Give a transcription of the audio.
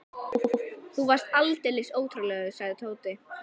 Úff, þú varst aldeilis ótrúlegur, sagði Tóti.